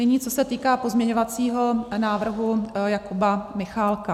Nyní, co se týká pozměňovacího návrhu Jakuba Michálka.